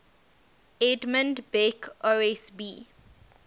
edmund beck osb